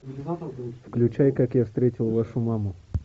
включай как я встретил вашу маму